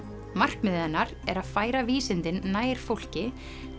markmiðið hennar er að færa vísindin nær fólki